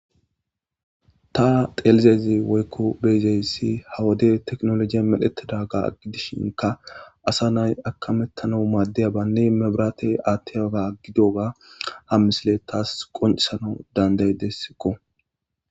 Ta xelizayssi woykko bei'zayssi ha wode teknolojeya medhetidaba gidishinkka assa nay akamethanawu madiyabane mebirathe athiyaba gidiyoga ha missile tas qoncisanawu danda'desko.